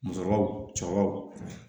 Musɔrɔw cɛkɔrɔbaw